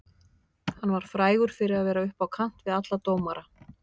Hann var frægur fyrir að vera upp á kant við alla dómara.